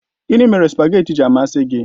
Gịnị mere spageetí ji amasị gị?